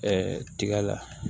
tiga la